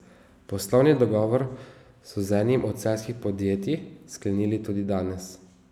Poslovni dogovor so z enim od celjskih podjetij sklenili tudi danes.